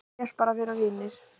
Segjast bara vera vinir